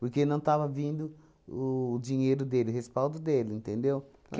Porque não estava vindo o o dinheiro dele, o respaldo dele, entendeu?